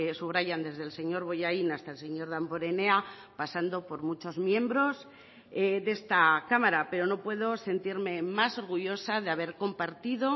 subrayan desde el señor bollain hasta el señor damborenea pasando por muchos miembros de esta cámara pero no puedo sentirme más orgullosa de haber compartido